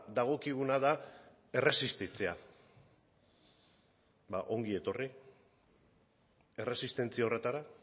dagokiguna da erresistitzea ba ongi etorri erresistentzia horretara